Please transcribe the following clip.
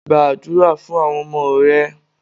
Gbàdúrà fún àwọn ọmọ rẹ.